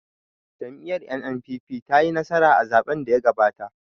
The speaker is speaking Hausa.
Jam'iyar 'N.N.P.P' ce ta yi nasara a zaɓen da ya gabata